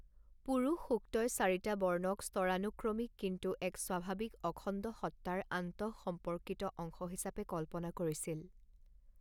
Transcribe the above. পুৰুষ সুক্তই চাৰিটা বৰ্ণক স্তৰানুক্ৰমিক, কিন্তু এক স্বাভাৱিক অখণ্ডসত্তাৰ আন্তঃসম্পৰ্কিত অংশ হিচাপে কল্পনা কৰিছিল।